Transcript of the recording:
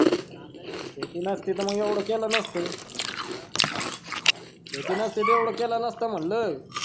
शेती नसती तर येवढा केला नसता हा शेती नसती तर येवढा केला नसता म्हंटलं